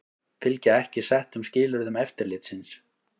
Fylgja ekki settum skilyrðum eftirlitsins